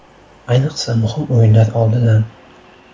Ayniqsa muhim o‘yinlar oldidan”.